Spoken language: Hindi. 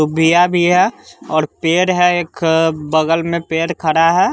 भिया भिया और पेड़ है एक अ बगल में पेड़ खड़ा है।